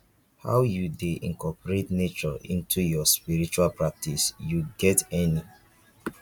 how you dey incorporate nature into your spiritual practice you get any